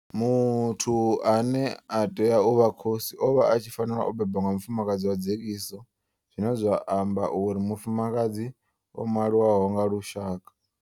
Muthu ane a tea u vha khosi o vha a tshi fanela u bebwa nga mufumakadzi wa dzekiso zwine zwa amba uri mufumakadzi o maliwaho nga lushaka.